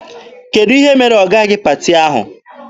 Kedụ ihe mere ọ gaghị paati ahụ?